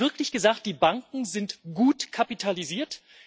Haben Sie wirklich gesagt Die Banken sind gut kapitalisiert?